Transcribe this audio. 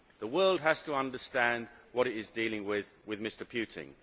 The world has to understand what it is dealing with in Mr Putin.